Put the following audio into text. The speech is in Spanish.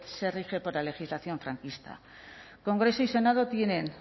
se rige por la legislación franquista congreso y senado tienen